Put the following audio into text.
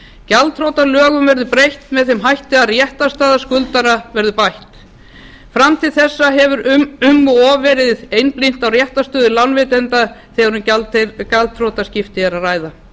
gjaldþrotalögum verður breytt með þeim hætti að réttarstaða skuldara verði bætt fram til þessa hefur um of verið einblínt á réttarstöðu lánveitenda þegar um gjaldþrotaskipti er að ræða